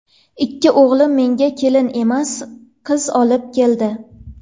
Ikki o‘g‘lim menga kelin emas, qiz olib keldi.